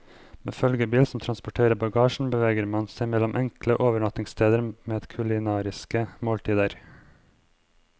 Med følgebil som transporterer bagasjen beveger man seg mellom enkle overnattingssteder med kulinariske måltider.